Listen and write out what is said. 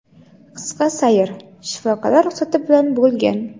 qisqa sayr shifokorlar ruxsati bilan bo‘lgan.